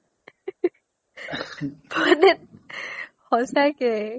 মানে সচাকে